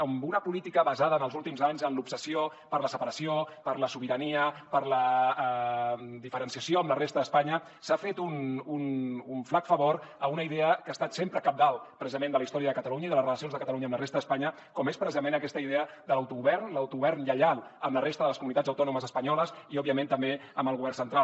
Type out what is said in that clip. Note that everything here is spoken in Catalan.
amb una política basada en els últims anys en l’obsessió per la separació per la sobirania per la diferenciació amb la resta d’espanya s’ha fet un flac favor a una idea que ha estat sempre cabdal precisament de la història de catalunya i de les relacions de catalunya amb la resta d’espanya com és precisament aquesta idea de l’auto govern l’autogovern lleial amb la resta de les comunitats autònomes espanyoles i òbviament també amb el govern central